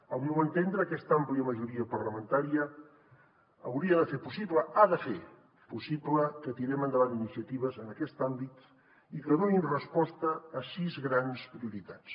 al meu entendre aquesta àmplia majoria parlamentària hauria de fer possible ha de fer possible que tirem endavant iniciatives en aquest àmbit i que donin resposta a sis grans prioritats